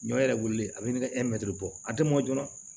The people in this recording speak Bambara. Ɲɔ yɛrɛ wililen a bɛ ne kɛ bɔ a tɛ mɔn joona